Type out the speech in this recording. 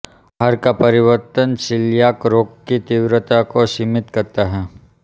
आहार का परिवर्तन सीलियाक रोग की तीव्रता को सीमित करता है